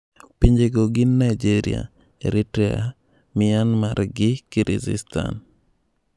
Pinjego gin Nigeria, Eritrea, Myanmar gi Kyryzstan.